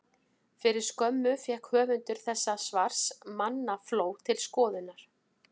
Fyrir skömmu fékk höfundur þessa svars mannafló til skoðunar.